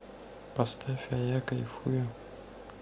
поставь а я кайфую